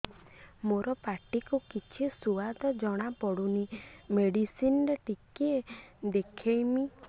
ମୋ ପାଟି କୁ କିଛି ସୁଆଦ ଜଣାପଡ଼ୁନି ମେଡିସିନ ରେ ଟିକେ ଦେଖେଇମି